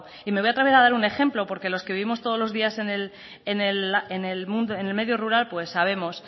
voy a dar un ejemplo porque los que vivimos todos los días en el medio rural pues sabemos